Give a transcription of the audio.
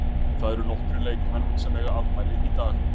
Það eru nokkrir leikmenn sem eiga afmæli í dag.